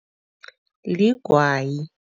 Ligwayi.